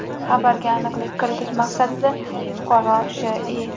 Xabarga aniqlik kiritish maqsadida fuqaro Sh.I.